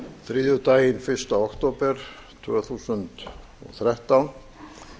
þriðjudaginn fyrsta október tvö þúsund og þrettán